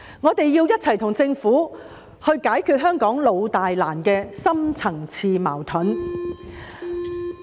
我們要與政府一起解決香港"老大難"的深層次矛盾。